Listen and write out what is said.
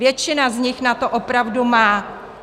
Většina z nich na to opravdu má.